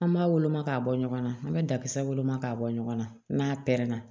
An b'a woloma k'a bɔ ɲɔgɔn na an bɛ dakisɛ woloma k'a bɔ ɲɔgɔn na n'a pɛrɛnna